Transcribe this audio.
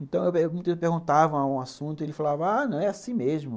Então, eu perguntava um assunto e ele falava, ah, não, é assim mesmo.